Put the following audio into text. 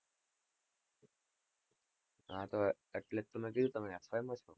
હા તો એટલે તો મેં કીધું તમે F. Y. માં છો.